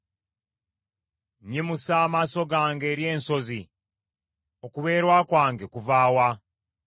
Nnyimusa amaaso gange eri ensozi, okubeerwa kwange kuva wa?